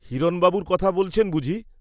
হিরণবাবুর কথা বলছেন বুঝি?